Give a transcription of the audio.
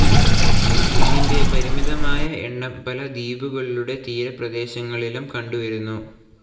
ഇതിൻ്റെ പരിമിതമായ എണ്ണം പല ദ്വീപുകളുടെ തീരപ്രേദേശങ്ങളിലും കണ്ടുവരുന്നു.